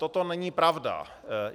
Toto není pravda.